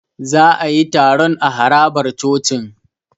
Za a yi taron a harabar cocin.